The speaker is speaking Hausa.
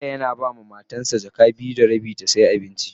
Suke yana ba ma Matan sa jaka biyu da rabi na siyan abinci.